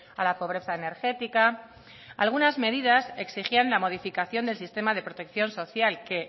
a la pobreza energética algunas medidas exigían la modificación del sistema de protección social que